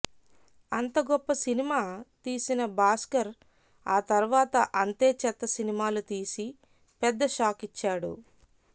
అంత గొప్ప సినిమా తీసిన భాస్కర్ ఆ తర్వాత అంతే చెత్త సినిమాలు తీసి పెద్ద షాకిచ్చాడు